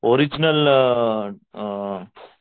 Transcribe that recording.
original uh a